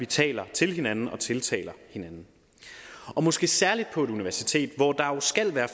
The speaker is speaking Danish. taler til hinanden og tiltaler hinanden og måske særlig på et universitet hvor der skal være